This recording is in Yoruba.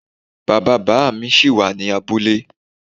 Bàbá bàámi ṣí wà ní abúlé.